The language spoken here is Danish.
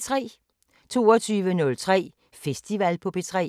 22:03: Festival på P3